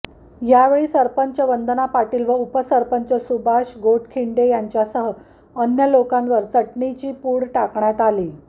यावेळी सरपंच वंदना पाटील व उपसरपंच सुभाष गोटखिंडे यांच्यासह अन्य लोकांवर चटणीची पूड टाकण्यात आली